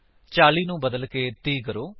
40 ਨੂੰ ਬਦਲਕੇ 30 ਕਰੋ